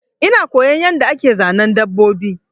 Ina koyon yanda ake Zanen dabbobi